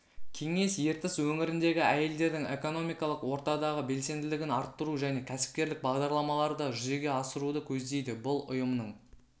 кеңес ертіс өңіріндегі әйелдердің экономикалық ортадағы белсенділігін арттыру және кәсіпкерлік бағдарламаларды жүзеге асыруды көздейді бұл ұйымның